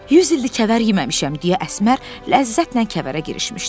Yüz ildir kəvər yeməmişəm, deyə Əsmər ləzzətlə kəvərə girişmişdi.